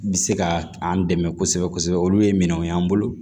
Bɛ se ka an dɛmɛ kosɛbɛ kosɛbɛ olu ye minɛnw y'an bolo